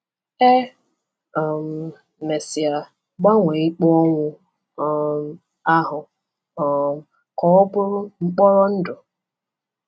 E um mesịa gbanwee ikpe ọnwụ um ahụ um ka ọ bụrụ mkpọrọ ndụ.